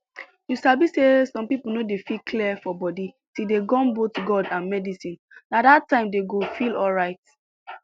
you sabi say some people no dey feel clear for body till dey gum both god and medicine na that time dey go feel alright